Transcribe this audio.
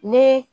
Ni